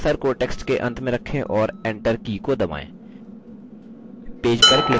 cursor को text के अंत में रखें और enter की को दबाएँ